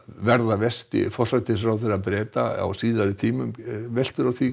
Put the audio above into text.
verða versti forsætisráðherra Bretlands á síðari tímum veltur á því